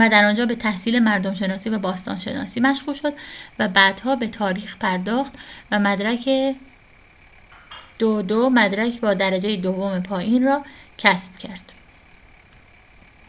و در آنجا به تحصیل مردم‌شناسی و باستان‌شناسی مشغول شد، و بعدها به تاریخ پرداخت و مدرک 2:2 مدرک با درجه دوم پایین را کسب کرد